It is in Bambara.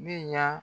Ne ɲa